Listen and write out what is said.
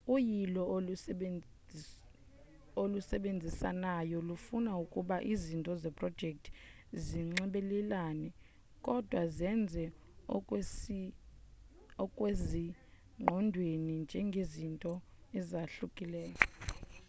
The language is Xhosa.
uyilo olusebenzisanayo lufuna ukuba izinto zeprojekthi zinxibelelane kodwa zenze okusezingqondweni njengezinto ezahlukileyo